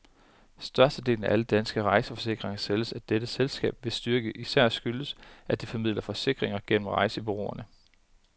Størstedelen af alle danske rejseforsikringer sælges af dette selskab, hvis styrke især skyldes, at det formidler forsikringer gennem rejsebureauerne.